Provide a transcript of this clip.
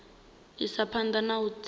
isa phanda na u tshimbidza